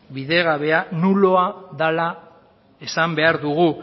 bidegabea nuloa dela esan behar dugu